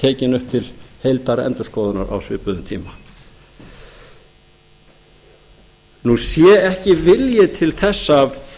tekin upp til heildarendurskoðunar á svipuðum tíma sé ekki vilji til þess af